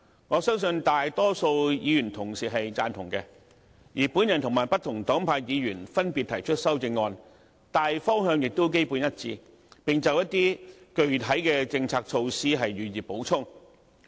我相信大多數議員都對此贊同，而我和不同黨派的議員分別提出的修正案，大方向亦基本一致，只就一些具體的政策措施予以補充。